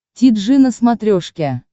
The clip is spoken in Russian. ти джи на смотрешке